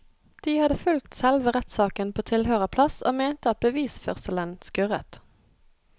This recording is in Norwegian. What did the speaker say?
De hadde fulgt selve rettssaken på tilhørerplass og mente at bevisførselen skurret.